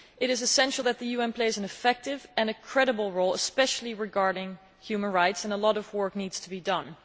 It is essential that the UN plays an effective and credible role, especially regarding human rights, and a lot of work needs to be done.